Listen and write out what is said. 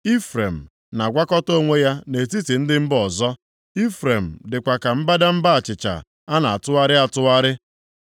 “Ifrem na-agwakọta onwe ya nʼetiti ndị mba ọzọ. Ifrem dịkwa ka mbadamba achịcha a na-atụgharịghị atụgharị.